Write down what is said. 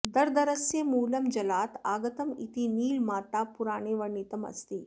दर्दरस्य मूलं जलात् आगतम् इति नीलमातापुराणे वर्णितम् अस्ति